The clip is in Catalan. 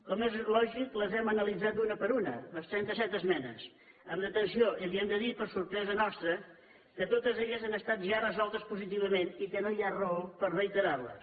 com és lògic les hem analitzat una per una les trentaset esmenes amb atenció i li hem de dir per sorpresa nostra que totes han estat ja resoltes positivament i que no hi ha raó per reiterarles